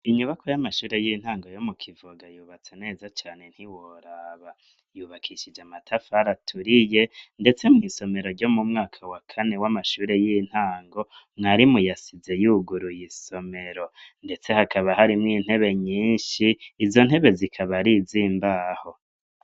Inyubako y'amashure y'intango yo mu Kivoga yubatse neza cane ntiworaba yubakishije amatafari aturiye ndetse mwisomero ryo mu mwaka wa kane w'amashure y'intango mwarimu yasize yuguruye isomero ndetse hakaba harimwo intebe nyinshi, izo ntebe zikaba arizimbaho.